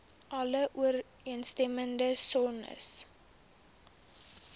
alle ooreenstemmende sones